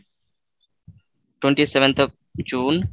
twenty seventh of June,